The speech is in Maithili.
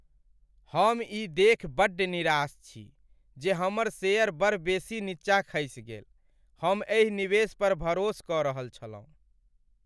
हम ई देखि बड्ड निराश छी जे हमर शेयर बड़ बेसी नीचाँ खसि गेल। हम एहि निवेश पर भरोस कऽ रहल छलहुँ।